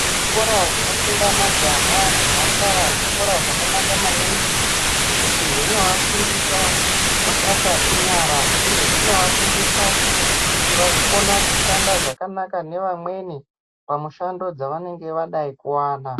Zvikora zvinofunda majaha nemhandara zvikora zvakanaka maningi ngekuti zvinoafundisa mabasa enyara uye zvinoafundisa kuti vazokone kushanda zvakanaka nevamweni pamishando yevanenge vadai kuwana.